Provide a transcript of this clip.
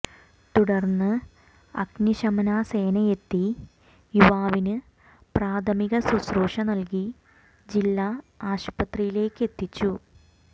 തുടര്ന്ന് അഗ്നിശമന സേനയെത്തി യുവാവിന് പ്രാഥമിക ശുശ്രുഷ നല്കി ജില്ലാ ആസ്പത്രിയിലേക്കെത്തിച്ചു